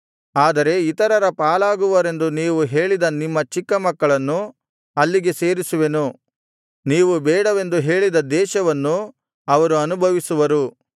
ಆದರೆ ಇತರರ ಪಾಲಾಗುವರೆಂದು ನೀವು ಹೇಳಿದ ನಿಮ್ಮ ಚಿಕ್ಕ ಮಕ್ಕಳನ್ನು ಅಲ್ಲಿಗೆ ಸೇರಿಸುವೆನು ನೀವು ಬೇಡವೆಂದು ಹೇಳಿದ ದೇಶವನ್ನು ಅವರು ಅನುಭವಿಸುವರು